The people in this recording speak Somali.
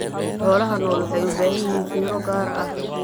Xoolaha nool waxay u baahan yihiin fiiro gaar ah.